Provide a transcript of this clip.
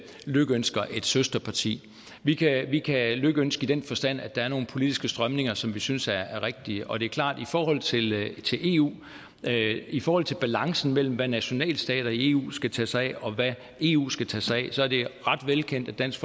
lykønsker et søsterparti vi kan vi kan lykønske i den forstand at der er nogle politiske strømninger som vi synes er rigtige og det er klart at i forhold til til eu i forhold til balancen mellem hvad nationalstater i eu skal tage sig af og hvad eu skal tage sig af så er det ret velkendt at dansk